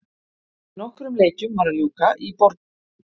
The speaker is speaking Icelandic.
Nokkrum leikjum var að ljúka í Borgunarbikar karla.